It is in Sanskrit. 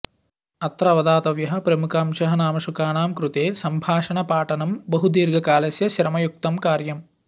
अत्र अवधातव्यः प्रमुखांशः नाम शुकानां कृते सम्भाषणपाठनं बहु दीर्घकालस्य श्रमयुक्तं कार्यम्